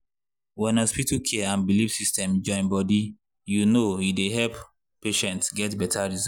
when hospital care and belief system join body you know e dey help patients get better result.